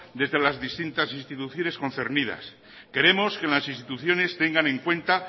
desde las distintas instituciones concernidas queremos que en las instituciones tengan en cuenta